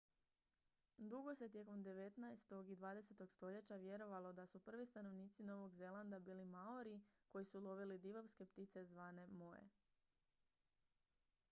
dugo se tijekom devetnaestog i dvadesetog stoljeća vjerovalo da su prvi stanovnici novog zelanda bili maori koji su lovili divovske ptice zvane moe